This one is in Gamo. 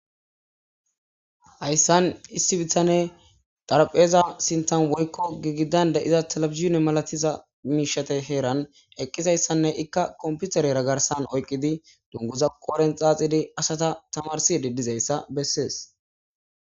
Hayssan issi bitane xarapheeza sinthan woykko girgidan da'iza talebizhine malatiza miishata heeran eqqizaysanne ikka kompiterera garsan oyqqidi dunguza qoodhen xaaxidi asata tamarsidi dizayssa bessees.